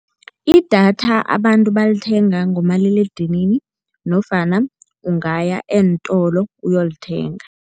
Idatha abantu balithenga ngomaliledinini nofana ungaya eentolo uyolithenga.